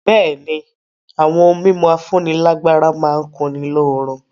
Bẹ̀ẹ́ni, àwọn ohun mímu afúnílágbára má n kunni lóorun.